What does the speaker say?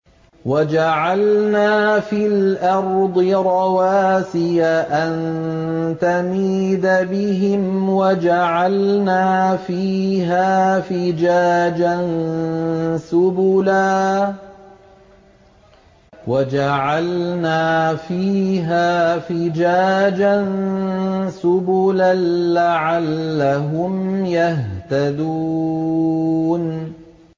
وَجَعَلْنَا فِي الْأَرْضِ رَوَاسِيَ أَن تَمِيدَ بِهِمْ وَجَعَلْنَا فِيهَا فِجَاجًا سُبُلًا لَّعَلَّهُمْ يَهْتَدُونَ